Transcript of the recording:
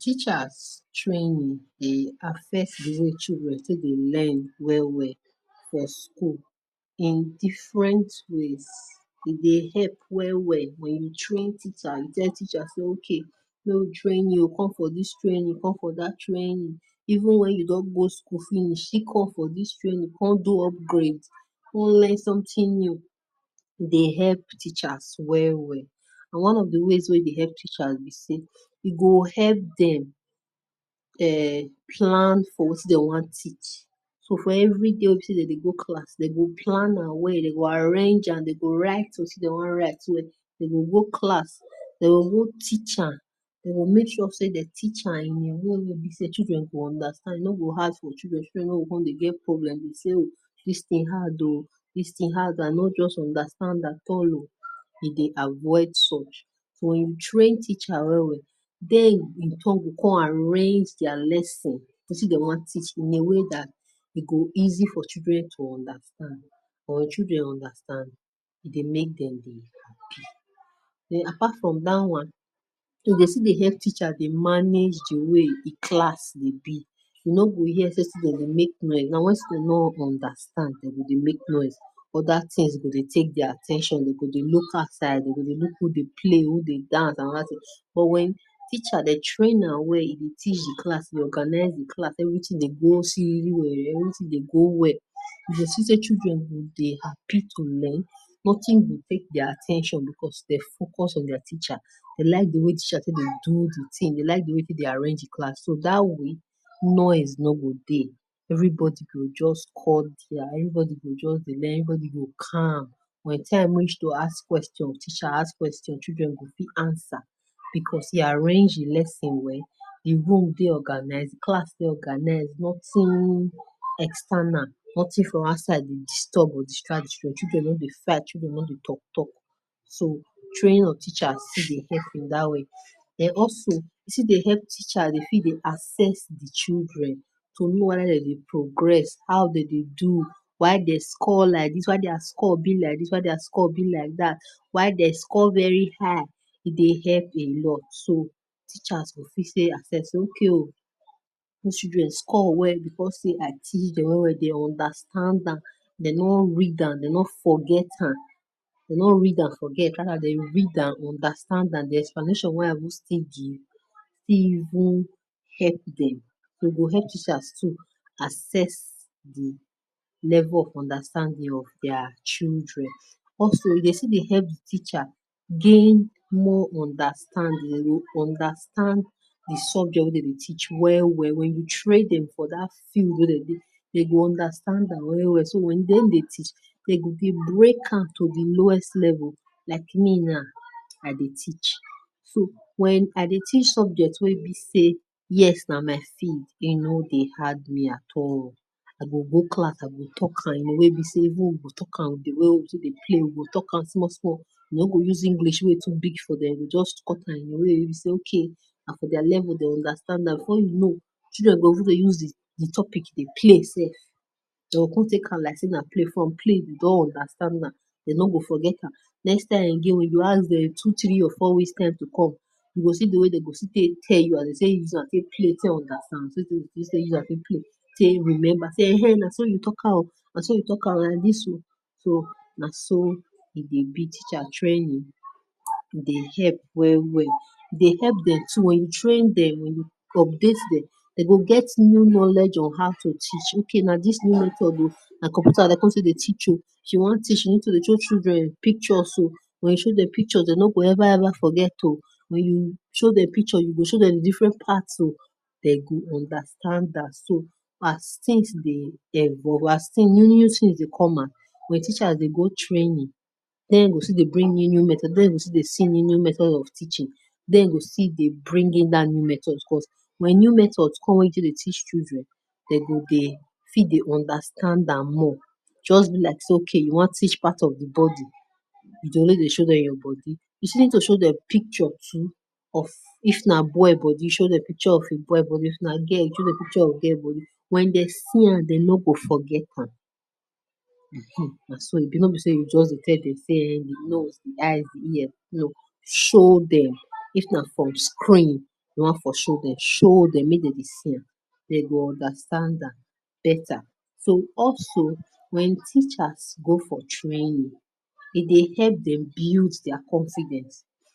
Teachers training dey affect di way children take dey learn well well for school in different ways e dey help well well [wen you train teacher you tell teacher say okay go training, come for dis training o come for dat training o even wen you don go school finish dey go still call for dis training come do upgrade con learn something new dey help Teachers well well one of di ways we dey help teacher be say e go help dem um plan for things wey dey wan teach so for every day wey dem go go class dey go plan on how dem go arrange am dey go write wetin dey wan write well dem go go class dey go teach am well dey go make sure say dey teach in a way children go understand no go hard for children children no go get problem wey be say dis thing hard o dis thing hard I no just understand at all o E dey avoid such wen you train teacher well well den e con go con arrange their lesson wetin dem wan teach in a way dat e go easy for children to understand for children understand dey make Dem dey happy Den apart from dat one e go still dey help teacher dey manage di way di class will be to know we hear say students dey make noise na wat school no understand Dem go dey make noise other things go dey take their at ten tion e go dey look outside e go dey look who dey play who dey dance but wen teacher dey train am well e go teach di class well organize di class everything go dey go everything dey go well dey still say children go dey happy to learn nothing will take their at ten tion because dey focus on their teacher dey like di way teacher go dey do di thing dey like di way dey arrange di class so dat one will make noise no go dey everybody go just call go just go learn everybody go calm by di time wey reach to ask questions teacher ask questions children go fit answer because e arrange di lesson well the room dey organize class organize not too external nothing for outside dey disturb dey distract you children no dey fight no dey talk talk so train your teachers dat way den also it still dey help teacher to fit dey access children to know whether Dem dey progress how dem dey do while dey score like dis why their score be like dis why their score like dat why dey score very high dey help a lot so teachers go fit dey access okay o dis children score well say na Understand am dem don read am, dey no forget am dey no read and forget Nah di explanation wey I go still give still even help dem e go help Teachers too access di level of understanding of their children also dey still dey help di teacher gain more understanding, understand di subject wey Dem dey teach well well wen you train for dat field wey you dey Dem go understand am well so wen dey dey teach Dem go To do lowest level like me nah I dey teach so wen I dey teach subject wey be say yes nah my field e no dey hard me at all I go go class I go talk am in a way wey be say Talk am small I no go use English wey be say e be to big for dem Nah for their level dey understand am before you know children go fit dey use the topic dey play self dey con take am as say nah play from play you don understand nah Dem no go forget am next time again you go ask dem two three or four weeks time nah to come you go see di way dey go still dey tell you Use am fit play say remember um naso fit talk am naso you talk am and dis o naso e dey be teacher training dey help well well dey help dem to um train Dem to update um Dem go get new knowledge on how to reach okay dis new method nah computer dey con still dey teach o she qan teach something dey show children pictures o wen you show Dem pictures Dem no go ever ever forget o wen you show dem picture you go show Dem different part o Dem go understand am so pass Wen teacher dey go training den dey still go bring new new method dey go still dey see new new method teaching den go still dey bring dat new method wen new methods come wetin go teach children Dem go fit dey understand am more just be like say okay you wan teach part of the body Dey show for your body to show Dem picture of if na boy body show Dem picture of boy body if na girl show Dem picture of girl body wen dey see am dem no go forget am Um naso e be no be say you go just dey tell dem nose, eye, ear show Dem if e for screen you wan for Dem show dem make Dem see am dem go understand am beta so also wen teachers go for training Dem dey help dem build their confidence